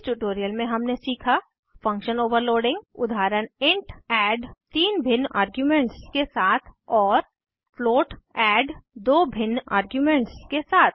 इस ट्यूटोरियल में हमने सीखा फंक्शन ओवरलोडिंग उदाहरण इंट एड तीन भिन्न आर्ग्यूमेंट्स के साथ और फ्लोट एड दो भिन्न आर्ग्यूमेंट्स के साथ